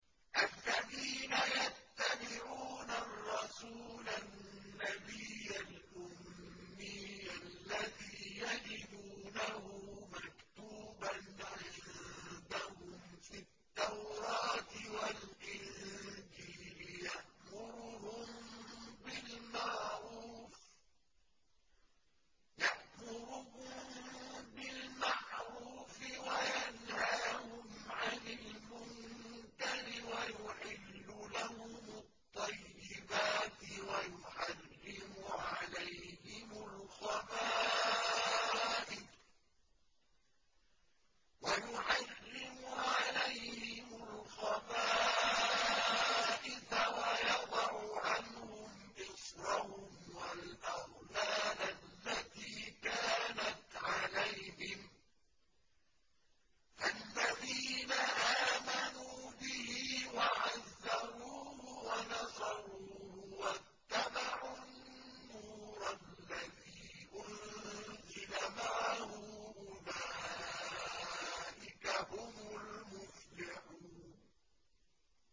الَّذِينَ يَتَّبِعُونَ الرَّسُولَ النَّبِيَّ الْأُمِّيَّ الَّذِي يَجِدُونَهُ مَكْتُوبًا عِندَهُمْ فِي التَّوْرَاةِ وَالْإِنجِيلِ يَأْمُرُهُم بِالْمَعْرُوفِ وَيَنْهَاهُمْ عَنِ الْمُنكَرِ وَيُحِلُّ لَهُمُ الطَّيِّبَاتِ وَيُحَرِّمُ عَلَيْهِمُ الْخَبَائِثَ وَيَضَعُ عَنْهُمْ إِصْرَهُمْ وَالْأَغْلَالَ الَّتِي كَانَتْ عَلَيْهِمْ ۚ فَالَّذِينَ آمَنُوا بِهِ وَعَزَّرُوهُ وَنَصَرُوهُ وَاتَّبَعُوا النُّورَ الَّذِي أُنزِلَ مَعَهُ ۙ أُولَٰئِكَ هُمُ الْمُفْلِحُونَ